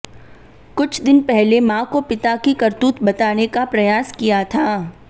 कुछ दिन पहले मां को पिता की करतूत बताने का प्रयास किया था